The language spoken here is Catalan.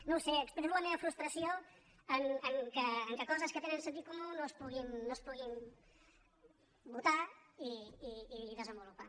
no ho sé expresso la meva frustració perquè coses que tenen sentit comú no es puguin votar i desenvolupar